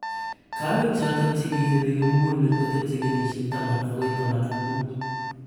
Kaweek chotok kichepe kimugulmet kotebche kenyisyiek taman akoi taman ak muut